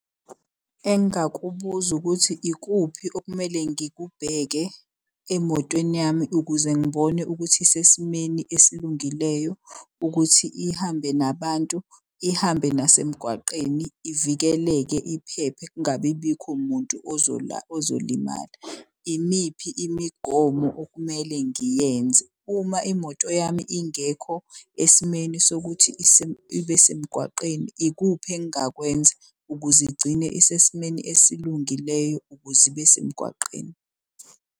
Engakubuza ukuthi ikuphi okumele ngikubheke emotweni yami ukuze ngibone ukuthi isesimeni esilungileyo. Ukuthi ihambe nabantu ihambe nasemgwaqeni, ivikeleke, iphephe kungabi bikho muntu ozolimala. Imiphi imigomo okumele ngiyenze uma imoto yami ingekho esimeni sokuthi ibe semgwaqeni. Ikuphi engakwenza ukuze igcine isesimeni esilungileyo ukuze ibe semgwaqeni.